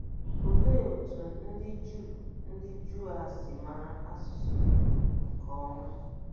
Olee otú ndị Juu ndị Juu a si mara asụsụ Hibru nke ọma?